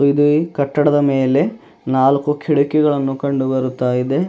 ಇದು ಈ ಕಟ್ಟಡದ ಮೇಲೆ ನಾಲ್ಕು ಕಿಟಕಿಗಳನ್ನು ಕಂಡು ಬರುತ್ತಾ ಇದೆ.